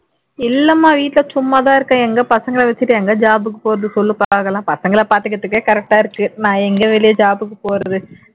இல்லைமா வீட்ல சும்மாதான் இருக்கேன் எங்க பசங்களை வச்சுட்டு எங்க job க்கு போறது சொல்லு பாக்கலாம் பசங்களை பாத்துக்கிறதுக்கே correct ஆ இருக்கு நான் எங்க வெளிய job க்கு போறது